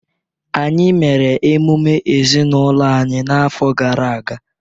Anyị mere emume ezinụlọ anyị n’afọ gara aga.